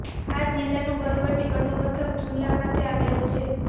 આ જિલ્લાનું વહીવટી વડું મથક જુમલા ખાતે આવેલું છે